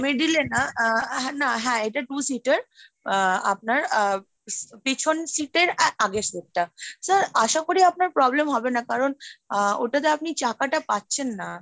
middle এ না হ্যাঁ আহ না হ্যাঁ এটা two seat, আহ আপনার আহ পেছন sheet এর আগের seat টা sir আশা করি আপনার problem হবে না, কারণ আহ ওটাতে আপনি চাকাটা পাচ্ছেন না।